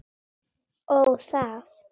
Ó, það.